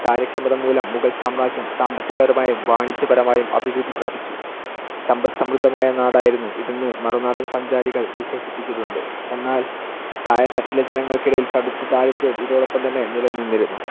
കാര്യക്ഷമത മൂലം മുഗൾ സാമ്രാജ്യം സാമ്പത്തികപരായും, വാണിജ്യപരമായും അഭിവൃദ്ധി പ്രാപിച്ചു. സമ്പല്‍ സമൃദ്ധമായ നാടായിരുന്നു ഇതെന്ന് മറുനാടൻ സഞ്ചാരികൾ വിശേഷിപ്പിച്ചിട്ടുണ്ട്. എന്നാൽ താഴെത്തട്ടിലെ ജനങ്ങൾക്കിടയിൽ കടുത്ത ദാരിദ്ര്യവും ഇതോടൊപ്പം തന്നെ നിലനിന്നിരുന്നു.